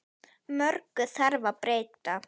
Mörgu þarf að breyta.